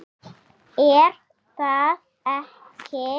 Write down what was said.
er það ekki?